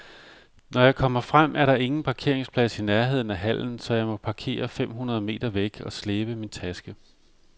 Når jeg kommer frem, er der ingen parkeringsplads i nærheden af hallen, så jeg må parkere fem hundrede meter væk og slæbe min taske.